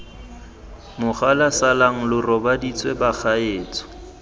mogala salang lo robaditswe bagaetsho